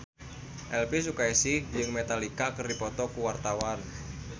Elvi Sukaesih jeung Metallica keur dipoto ku wartawan